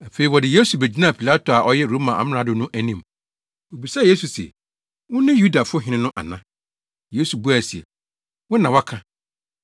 Afei wɔde Yesu begyinaa Pilato a ɔyɛ Roma amrado no anim. Obisaa Yesu se, “Wone Yudafo Hene no ana?” Yesu buae se, “Wo na woaka.”